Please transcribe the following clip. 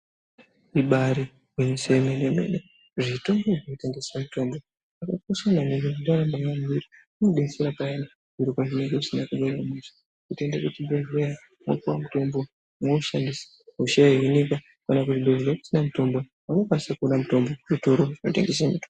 Ibaari gwinyiso yemene-mene, zvitoro zvinotengesa mutombo zvakakosha maningi ngendaa yekuti inodetsera payani zviro pazvinenge zvisina kumira mushe. Totoende kuzvibhedhleya mwopuwe mutombo mwoushandisa hosha yohinika. Kana kuzvibhedhleya kusina mutombo unokwanise kuona mutombo zvitoro zvinotengesa muto...